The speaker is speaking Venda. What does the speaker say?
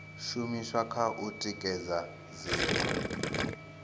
shumiswa kha u tikedza dziṅwe